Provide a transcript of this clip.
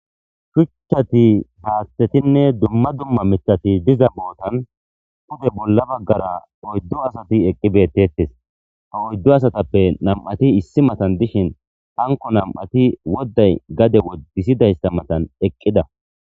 shuchcchati haaththetinne dumma dumma mitati diza bootan pude bolla baggara oyddo asati eqqi beettettes ha oyddo asatappe nam7ati issi matan dishin hanko nam7ati wodday gade wodisidayssa matan eqqida